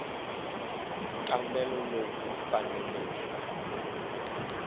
nkambelo lowu wu faneleke ku